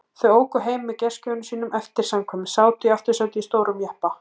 Þau óku heim með gestgjöfum sínum eftir samkvæmið, sátu í aftursætinu í stórum jeppa.